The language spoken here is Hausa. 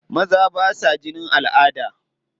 Maza ba sa jinin al'ada.